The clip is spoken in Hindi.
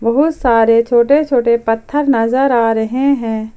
बहोत सारे छोटे छोटे पत्थर नजर आ रहे हैं ।